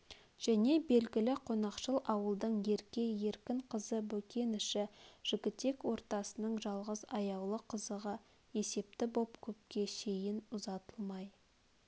және белгілі қонақшыл ауылдың ерке еркін қызы бөкеніші жігітек ортасының жалғыз аяулы қызығы есепті боп көпке шейін ұзатылмай